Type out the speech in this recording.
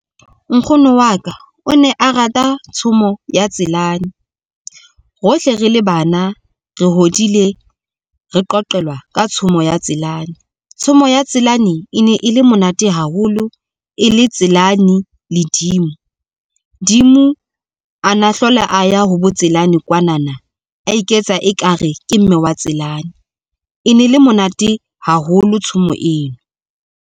Nkgono wa ka o ne a rata tshomo ya Tselane. Hohle re le bana re hodile, re qoqelwa ka tshomo ya Tselane. Tshomo ya Tselane e ne e le monate haholo e le Tselane le Dimo. Dimo a na hlola a ya ho bo Tselane kwanana a iketsa ekare ke mme wa Tselane, e ne le monate haholo tshomo eo.